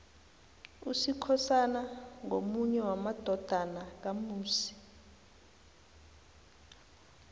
usikhosana ngomunye wamadodana kamusi